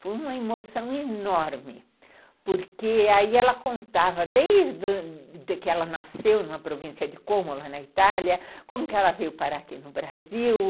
Foi uma emoção enorme, porque aí ela contava, desde que ela nasceu numa província de Cômola, na Itália, como que ela veio parar aqui no Brasil.